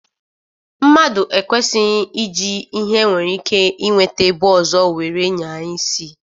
Mmadu ekwesighj iji ihe e nwere ike inweta ebe ozo were nyaa isi